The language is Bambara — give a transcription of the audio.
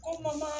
Kɔ ma